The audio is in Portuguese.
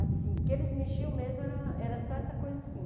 Assim, o que eles mexiam mesmo era era só essa coisa assim.